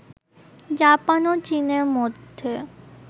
Japan ও চীনের মধ্যে